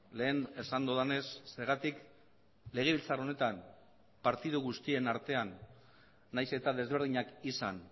lehen esan dudanez zergatik legebiltzar honetan partidu guztien artean nahiz eta desberdinak izan